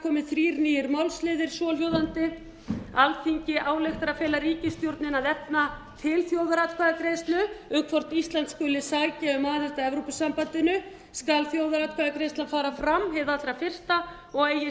komi þrír nýir málsliðir svohljóðandi alþingi ályktar að fela ríkisstjórninni að efna til þjóðaratkvæðagreiðslu um hvort ísland skuli sækja um aðild að evrópusambandinu skal þjóðaratkvæðagreiðslan fara fram hið allra fyrsta og eigi síðar